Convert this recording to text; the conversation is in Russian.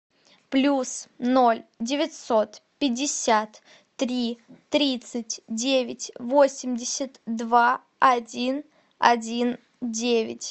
плюс ноль девятьсот пятьдесят три тридцать девять восемьдесят два один один девять